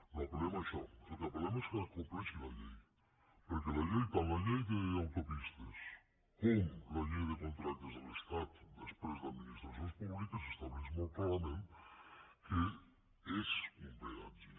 no apelaixò al que apella llei tant la llei d’autopistes com la llei de contractes de l’estat després d’administracions públiques estableix molt clarament què és un peatge